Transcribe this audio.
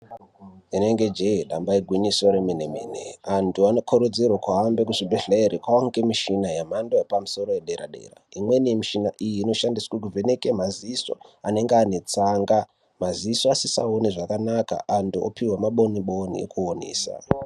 Rinenge jee damba igwinyiso remene -mene. Antu anokurudzirwe kuhambe kuzvibhedhlere kwaange mishina, yamhando yepamusoro yedera-dera. Imweni yemishina iyi, inoshandiswe kuvheneke maziso anenge ane tsanga, maziso asisaoni zvakanaka, antu opihwa maboni boni ekuonesa.